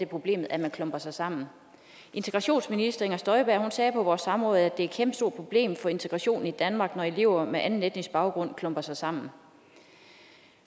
problem at man klumper sig sammen integrationsministeren sagde på vores samråd at det er et kæmpestort problem for integrationen i danmark når elever med anden etnisk baggrund klumper sig sammen